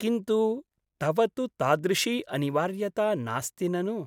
किन्तु तव तु तादृशी अनिवार्यता नास्ति ननु ?